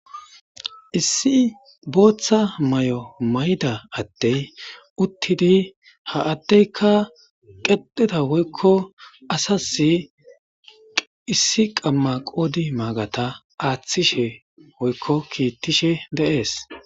Issi booththa may'o mayda attey uttidi ha addeyka qedheta woykko asasi issi qamma qoodi maagata aaththishe woykko kiittishe deees.